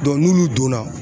n'olu donna